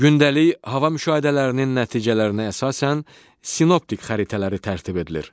Gündəlik hava müşahidələrinin nəticələrinə əsasən sinoptik xəritələri tərtib edilir.